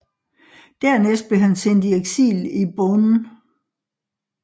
Dernæst blev han sendt i eksil i Beaune